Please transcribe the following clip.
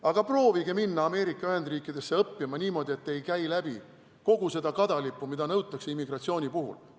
Aga proovige minna Ameerika Ühendriikidesse õppima niimoodi, et te ei käi läbi kogu seda kadalippu, mida nõutakse immigratsiooni puhul.